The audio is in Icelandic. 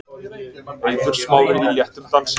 Eiður Smári í léttum dansi.